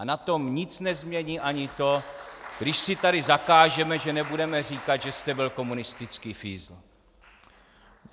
A na tom nic nezmění ani to, když si tady zakážeme, že nebudeme říkat, že jste byl komunistický fízl!